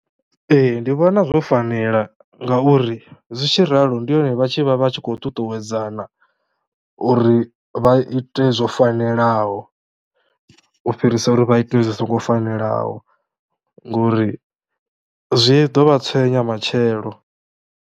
Ee ndi vhona zwo fanela ngauri zwi tshi ralo ndi hone vha tshi vha vha tshi khou ṱuṱuwedzana uri vha ite zwo fanelaho u fhirisa uri vha ite zwi songo fanelaho ngori zwi ḓo vha tswenya matshelo.